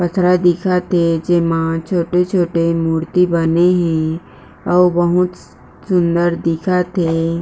पथरा दिखत हे जेमा छोटे-छोटे मुर्ति बने हे अऊ बहुत सुंदर दिखत हे।